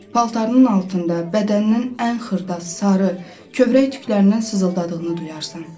Paltarının altında bədəninin ən xırda, sarı, kövrək tüklərindən sızıldadığını duyarsan.